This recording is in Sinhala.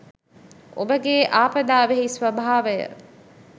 ඔබගේආපදාවෙහි ස්‌වභාවය